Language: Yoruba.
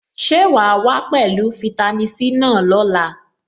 Ṣé wàá wá pẹ̀lú fitami C náà lọ́la?